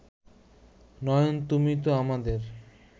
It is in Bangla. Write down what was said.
নয়ন তুমি তো আমাদের